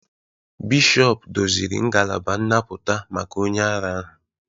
Bishọp doziri ngalaba nnapụta maka onye ara ahụ